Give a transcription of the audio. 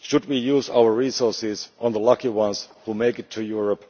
Should we use our resources on the lucky ones who make it to Europe,